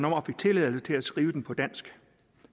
og fik tilladelse til at skrive den på dansk